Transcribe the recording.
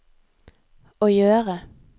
å gjøre